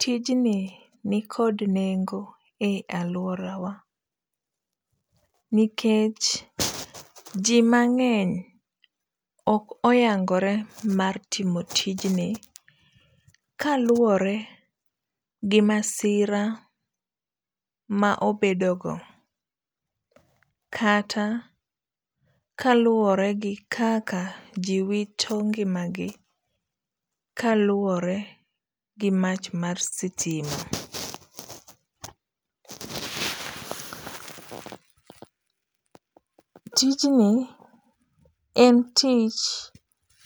Tijni nikod neng'o e aluorawa, nikech ji mang'eny ok oyang'ore mar timo tijni kaluore gi masira ma obedogo, kata ka luore gi kaka ji wito ng'imagi, kaluore gi mach mar sitima. Tijni en tich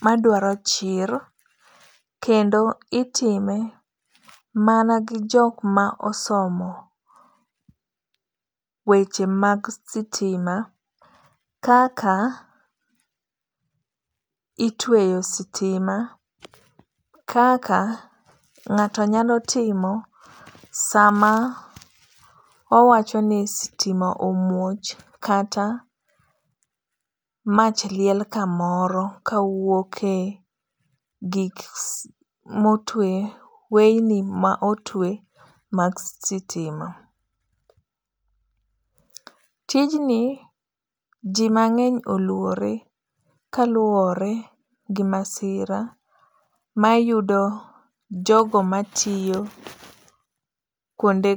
maduaro chir kendo itime mana gi jok ma osomo weche mag sitima kaka itweyo sitima, kaka ng'ato nyalo timo sama owacho ni stima omuoch kata mach liel kamoro kawuoke gik ma otwe weyni ma otwe mag sitima. Tijni jimang'eny oluore kaluore gimasira mayudo jogo matiyo kuonde